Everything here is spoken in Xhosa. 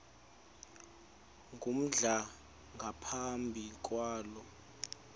ngumdala engaphumi kulo